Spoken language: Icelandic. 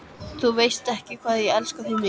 Þú veist ekki, hvað ég elska þig mikið.